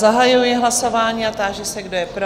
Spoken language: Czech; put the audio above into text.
Zahajuji hlasování a táži se, kdo je pro?